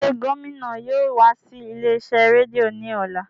Ṣe gomina yóò wa si ile-iṣẹ redio ni ọla?